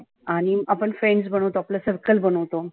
आणि आपण friends आपलं circle बनवतो